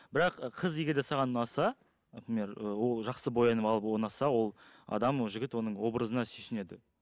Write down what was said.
бірақ қыз егер де саған ұнаса например ы ол жақсы боянып алып ол ұнаса ол адам жігіт оның образына сүйсінеді